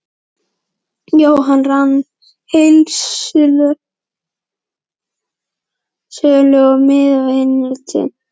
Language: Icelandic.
Jóhann rak heildsölu og miðaði innflutning sinn mest við fermingarbörn.